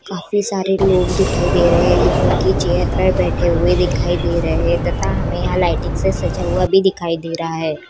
काफी सारे लोग दिखाई दे रहे है जो की चेयर पर बैठे हुए दिखाई दे रहे तथा हमे यहाँ लाइटिंग से सज्जा हुआ भी दिखाई दे रहा है।